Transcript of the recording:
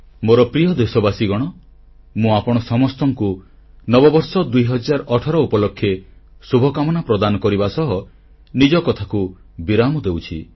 ମୋର ପ୍ରିୟ ଦେଶବାସୀଗଣ ମୁଁ ଆପଣ ସମସ୍ତଙ୍କୁ ନବବର୍ଷ 2018 ଉପଲକ୍ଷେ ଶୁଭକାମନା ଜଣାଇବା ସହ ନିଜ କଥାକୁ ବିରାମ ଦେଉଛି